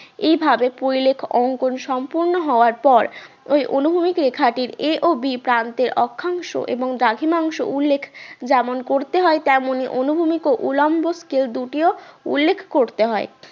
এইভাবে পরিলেখ অঙ্কন সম্পূর্ণ হওয়ার পর ওই অনুভূমিক রেখাটির a ও b প্রান্তের অক্ষাংশ এবং দ্রাঘিমাংশ উল্লেখ্ যেমন করতে হয় তেমনি অনুভূমিক ও উলম্ব scale দুটিও উল্লেখ্ করতে হয়